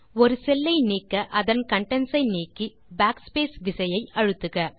ஒரு செல் லை நீக்க அதன் கன்டென்ட்ஸ் ஐ நீக்கி backspace விசையை அழுத்துக